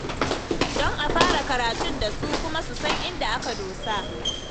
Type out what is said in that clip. Don a fara karatun da su, kuma su san inda aka dosa.